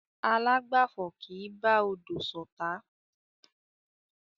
Alágbàfo kì í bá odò ṣotá.